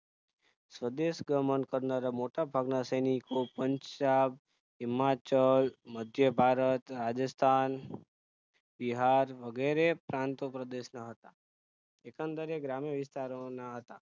સ્વદેશ ગમન કરનારા મોટા ભાગના સૈનિકો પંજાબ હિમાચલ મધ્યભારત રાજસ્થાન બિહાર વગેરે પ્રાંતો પ્રદેશ ના હતા એકંદરે ગ્રામીય વિસ્તારોના હતા